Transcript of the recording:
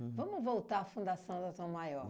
Vamos voltar à fundação da Tom Maior.